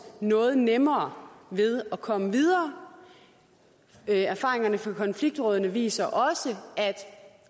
noget nemmere ved at komme videre erfaringerne fra konfliktrådene viser også at